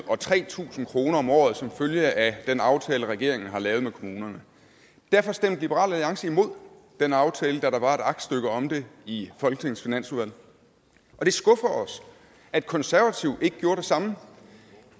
og tre tusind kroner om året som følge af den aftale regeringen har lavet med kommunerne derfor stemte liberal alliance imod den aftale da der var et aktstykke om det i folketingets finansudvalg og det skuffer os at de konservative ikke gjorde det samme